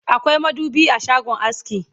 akwai madubi a shagon aski